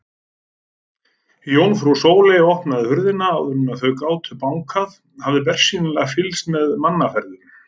Jómfrú Sóley opnaði hurðina áður en þau gátu bankað, hafði bersýnilega fylgst með mannaferðum.